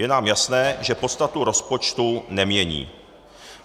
Je nám jasné, že podstatu rozpočtu nemění.